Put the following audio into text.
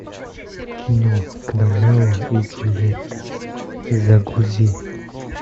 кино гномео и джульетта загрузи